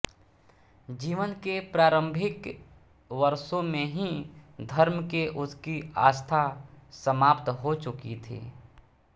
जीवन के प्रारंभिक वर्षों में ही धर्म के उसकी आस्था समाप्त हो चुकी थी